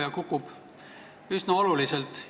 Ja kukub üsna olulisel määral.